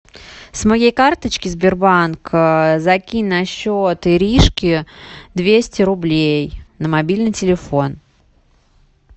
с моей карточки сбербанк закинь на счет иришки двести рублей на мобильный телефон